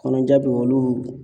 Kɔnɔja be olu